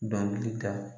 Dɔnkili da